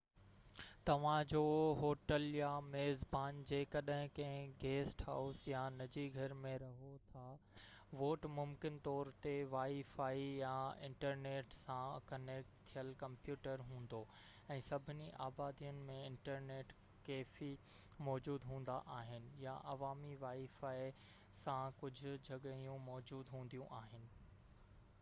توهان جو هوٽل يا ميزبان جيڪڏهن ڪنهن گيسٽ هائوس يا نجي گهر ۾ رهو ٿاوٽ ممڪن طور تي وائي فائي يا انٽرنيٽ سان ڪنيڪٽ ٿيل ڪمپيوٽر هوندو، ۽ سڀني آبادين ۾ انٽرنيٽ ڪيفي موجود هوندا آهن يا عوامي وائي فائي سان ڪجهه جڳهيون موجود هونديون آهن